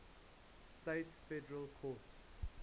states federal courts